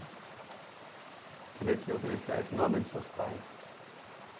O que ele é que oferece a esse nome dos seus pais?